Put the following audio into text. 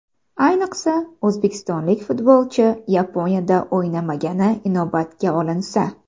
Ayniqsa, o‘zbekistonlik futbolchi Yaponiyada o‘ynamagani inobatga olinsa.